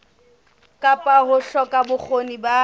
kapa ho hloka bokgoni ba